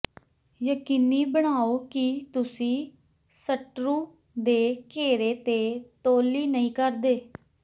ਯਕੀਨੀ ਬਣਾਓ ਕਿ ਤੁਸੀਂ ਸਟਰੂ ਦੇ ਘੇਰੇ ਤੇ ਤੌਹਲੀ ਨਹੀਂ ਕਰਦੇ